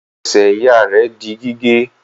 Ẹsẹ̀ ìyá rẹ̀ di gígé.